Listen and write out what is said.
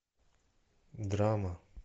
драма